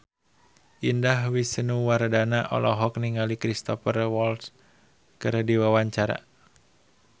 Indah Wisnuwardana olohok ningali Cristhoper Waltz keur diwawancara